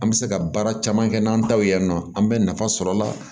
An bɛ se ka baara caman kɛ n'an ta ye nɔ an bɛ nafa sɔr'a la